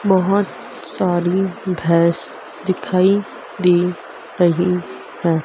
बहोत सारी भैंस दिखाई दे रही हैं।